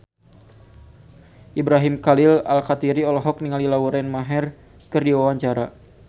Ibrahim Khalil Alkatiri olohok ningali Lauren Maher keur diwawancara